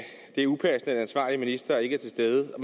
det er upassende at den ansvarlige minister ikke er til stede og